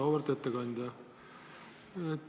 Auväärt ettekandja!